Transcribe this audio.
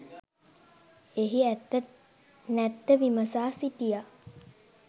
එහි ඇත්ත නැත්ත විමසා සිටියා.